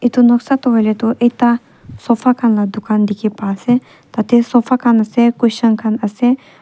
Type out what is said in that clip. etu noksa toh hoi le toh ekta sofa khan la dukan dikhi pa ase tate sofa khan ase cushion khan ase.